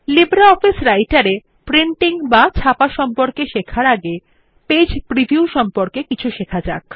LibreOffice রাইটের এ printing সম্পর্কে শেখার আগে পেজ প্রিভিউ সম্পর্কে কিছু শেখা যাক